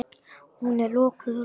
Hún er lokuð og læst.